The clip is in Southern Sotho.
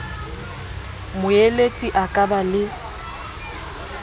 moeletsi a ka ba le